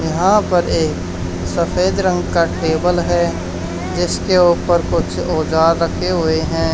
यहां पर एक सफेद रंग का टेबल है जिसके ऊपर कुछ औजार रखे हुए हैं।